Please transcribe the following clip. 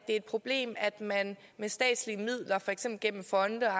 et problem at man med statslige midler for eksempel gennem fonde og